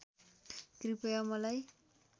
कृपया मलाई